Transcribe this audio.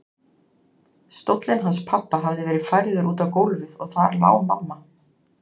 Stóllinn hans pabba hafði verið færður út á gólfið og þar lá mamma.